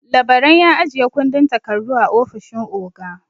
Labaran ya ajiye kundin takardu a ofishin oga.